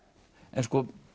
en